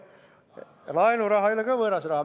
Ka laenuraha ei ole võõras raha.